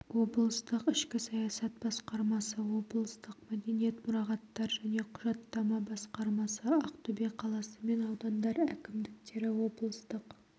облыстық ішкі саясат басқармасы облыстық мәдениет мұрағаттар және құжаттама басқармасы ақтөбе қаласы мен аудандар әкімдіктері облыстық